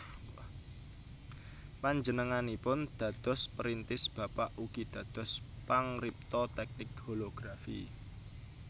Panjenenganipun dados perintis bapak ugi dados pangripta tèknik holografi